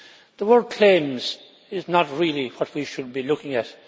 The word claims' is not really what we should be looking at.